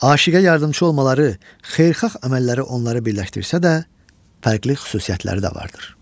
Aşiqə yardımçı olmaları, xeyirxah əməlləri onları birləşdirsə də, fərqli xüsusiyyətləri də vardır.